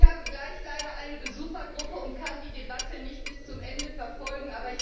Ich habe gleich eine Besuchergruppe und kann die Debatte leider nicht bis zum Ende verfolgen.